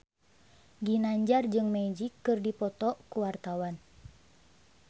Ginanjar jeung Magic keur dipoto ku wartawan